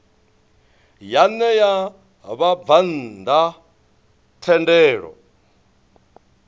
ya ṋea vhabvann ḓa thendelo